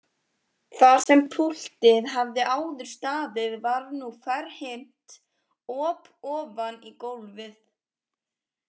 Þar sem púltið hafði áður staðið var nú ferhyrnt op ofan í gólfið.